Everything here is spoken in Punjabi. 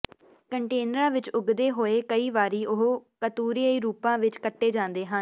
ਕੰਟੇਨਰਾਂ ਵਿੱਚ ਉੱਗਦੇ ਹੋਏ ਕਈ ਵਾਰੀ ਉਹ ਕਤੂਰਈ ਰੂਪਾਂ ਵਿੱਚ ਕੱਟੇ ਜਾਂਦੇ ਹਨ